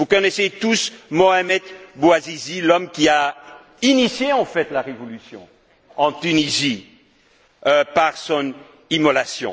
Vous connaissez tous Mohamed Bouazizi, l'homme qui a initié, en fait, la révolution en Tunisie par son immolation.